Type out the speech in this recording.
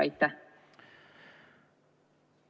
Aitäh!